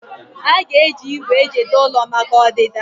Aga eji igwè ejide ụlọ maka ọdịda?